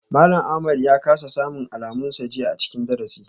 Malam Ahmad ya kasa samun alamunsa jiya a cikin darasi.